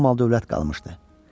Amal dövlət qalmışdı.